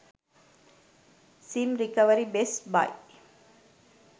sim recovery best buy